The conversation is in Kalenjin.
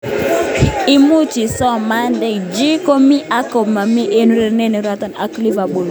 Imuch isoman: De Gea komi anan komomi eng urerenet neurereni ak Liverpool.